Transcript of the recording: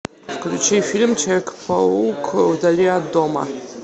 включи фильм человек паук вдали от дома